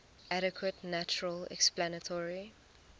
adequate natural explanatory